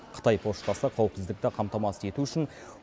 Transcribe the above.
қытай поштасы қауіпсіздікті қамтамасыз ету үшін